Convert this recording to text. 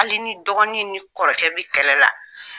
Hali ni dɔgɔnin ni kɔrɔkɛ bɛ kɛlɛ la